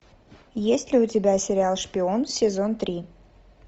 есть ли у тебя сериал шпион сезон три